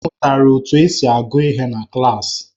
M mụtara otú e si agụ ihe na klaasị.